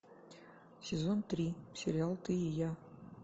сезон три сериал ты и я